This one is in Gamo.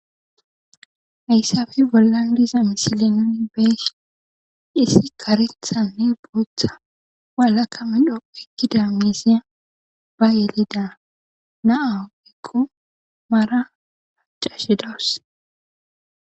Hayssafi bollandiza misile nuni be dhisi karethanne booththa walaka midho ekkida miisiya ba yelida naau ekko mara haccashe dawus.